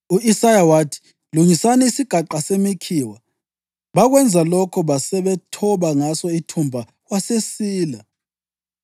U-Isaya wathi: “Lungisani isigaqa semikhiwa.” Bakwenza lokho basebethoba ngaso ithumba, wasesila.